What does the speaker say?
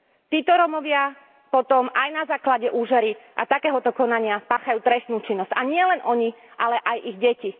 Títo Rómovia potom aj na základe úžery a takéhoto konania páchajú trestnú činnosť a nielen oni, ale aj ich deti.